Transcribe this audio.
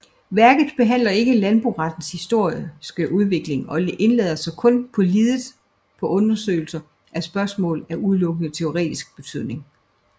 Værket behandler ikke landborettens historiske udvikling og indlader sig kun lidet på undersøgelse af spørgsmål af udelukkende teoretisk betydning